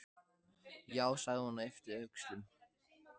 Já sagði hún og yppti öxlum.